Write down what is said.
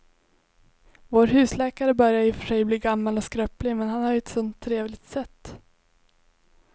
Vår husläkare börjar i och för sig bli gammal och skröplig, men han har ju ett sådant trevligt sätt!